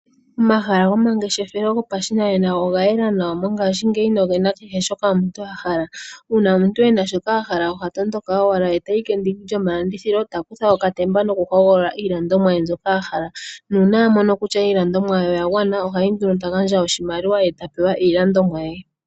Omahala gomangeshefelo yopashinanena oga yela nawa mongaashingeyi nogena kehe shoka omuntu ahala. Uuna omuntu ena shoka ahala ohatondoka owala etayi kendiki lyomalandithilo eta kutha okatemba noku hogolola iilandithomwa ye mbyoka ahala. Nuuna amono kutya iilandomwa ye oyagwana ohayi nduno eta gandja oshimaliwa eta pewa iilandithomwa ye.